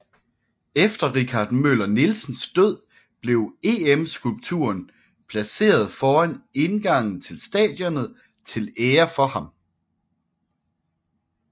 Efter Richard Møller Nielsens død blev EM skulpturen placeret foran indgangen til stadionet til ære for ham